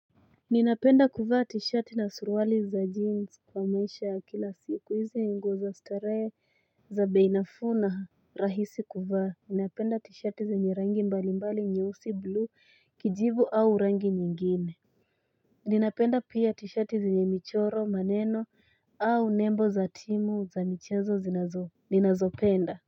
Ninapenda kuva tishati na suruali za jeans kwa maisha ya kila siku izi nguo za stare za bei nafu na rahisi kuva. Ninapenda tishati zenye rangi mbalimbali nyeusi blue, kijivu au rangi nyingine. Ninapenda pia tishati za ni michoro, maneno au nembo za timu za nichezo zinazo. Ninazopenda.